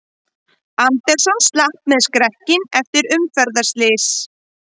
Anderson slapp með skrekkinn eftir umferðarslys